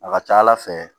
A ka ca ala fɛ